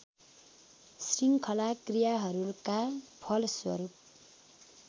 शृङ्खला क्रियाहरूका फलस्वरूप